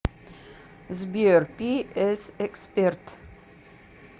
сбер пи эс эксперт